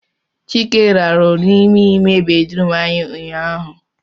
Chike rarụ n'ime ime bedrum anyị ụnyaahụ